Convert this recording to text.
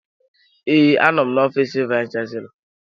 Ee, anọ m n'ofiis vayis chansilọ.